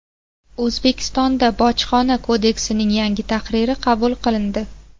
O‘zbekistonda Bojxona kodeksining yangi tahriri qabul qilindi.